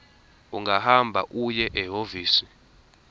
ungahamba uye ehhovisi